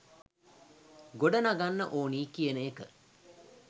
ගොඩනගන්න ඕනි කියන එක